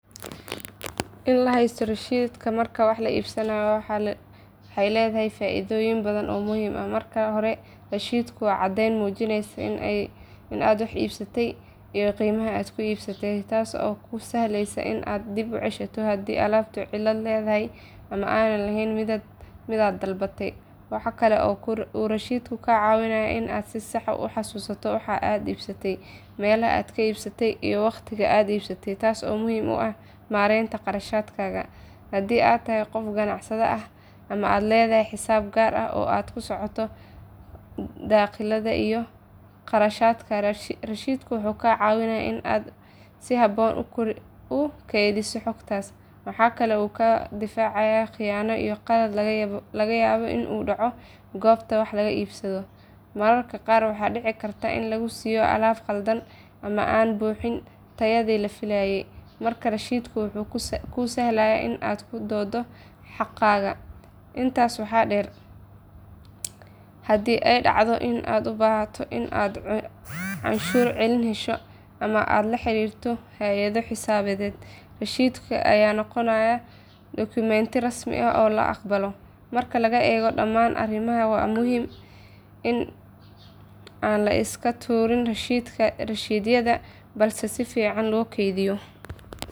In la haysto rasiidhaha marka wax la iibsanayo waxa ay leedahay faa’iidooyin badan oo muhiim ah. Marka hore rasiidhku waa caddeyn muujinaysa in aad wax iibsatey iyo qiimaha aad ku iibsatay, taas oo kuu sahlaysa in aad dib u ceshato haddii alaabtu cilad leedahay ama aanay ahayn midaad dalbatay. Waxa kale oo uu rasiidhku kaa caawinayaa in aad si sax ah u xasuusato waxa aad iibsatay, meelaha aad ka iibsatay, iyo waqtiga aad iibsatay, taas oo muhiim u ah maaraynta kharashaadkaaga. Haddii aad tahay qof ganacsade ah ama aad leedahay xisaab gaar ah oo aad la socoto dakhliyada iyo kharashaadka, rasiidhku wuxuu kaa caawinayaa in aad si habboon u kaydiso xogtaas. Waxa kale oo uu kaa difaacayaa khiyaano iyo qalad laga yaabo in uu ka dhaco goobta wax laga iibsado. Mararka qaar waxaa dhici karta in lagu siiyo alaab khaldan ama aan buuxin tayadii la filayay, marka rasiidhku wuxuu kuu sahlaa in aad ku doodo xaqaaga. Intaas waxaa sii dheer, haddii ay dhacdo in aad u baahato in aad canshuur celin hesho ama aad la xiriirto hay’ado xisaabeed, rasiidhka ayaa noqonaya dokumenti rasmi ah oo la aqbalo. Marka la eego dhamaan arrimahan, waa muhiim in aan la iska tuurin rasiidhyada balse si fiican loo kaydiyo.